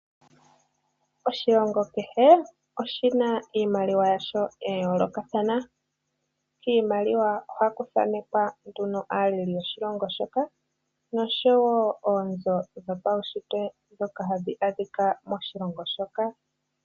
Oshilongo kehe oshina iimaliwa yasho yayoolokathana, kiimaliwa ohaku thanekwa nduno aaleli yoshilongo shoka noshowo oonzo dho pawuntsitwe ndhoka hadhi adhika moshilongo moka.